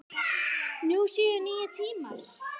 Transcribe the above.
Nú séu nýir tímar.